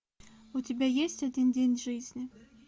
у тебя есть один день жизни